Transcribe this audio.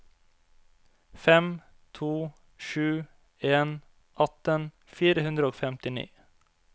fem to sju en atten fire hundre og femtini